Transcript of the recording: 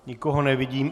Nikoho nevidím.